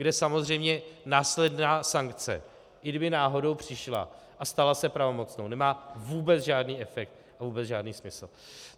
Kde samozřejmě následná sankce i kdyby náhodou přišla a stala se pravomocnou, nemá vůbec žádný efekt a vůbec žádný smysl.